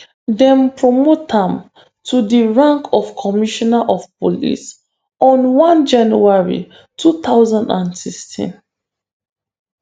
dem promote am to di rank of commissioner of police on 1 january 2016.